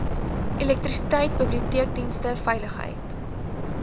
elektrisiteit biblioteekdienste veiligheid